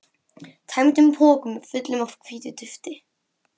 tæmdum pokum, fullum af hvítu dufti.